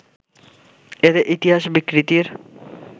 এতে ইতিহাস বিকৃতির